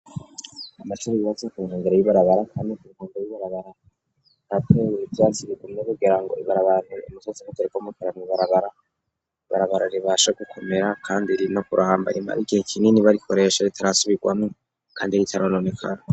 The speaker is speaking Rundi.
Amasira riyaza ku mwangera bibarabara, kandi ku rwanga bibarabara natewuye ivyazi bigumne kugira ngo ibarabantuye umusazi mutererwa muterano barabara barabara ribasha gukomera, kandi ri no kurambarimara igihe kinini barikoresha ritarasubirwano, kandi ritarononekara.